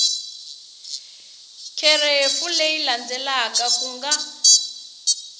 kherefu leyi landzelaka ku nga